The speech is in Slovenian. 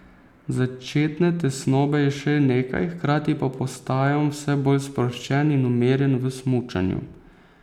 Začetne tesnobe je še nekaj, hkrati pa postajam vse bolj sproščen in umirjen v smučanju.